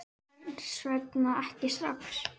Hvers vegna ekki strax?